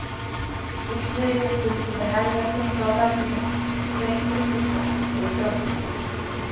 Illviðrið buldi með heljarþunga á þakinu og hvein við gluggana og í strompinum.